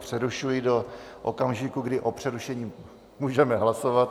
Přerušuji do okamžiku, kdy o přerušení můžeme hlasovat.